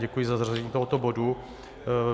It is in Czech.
Děkuji za zařazení tohoto bodu.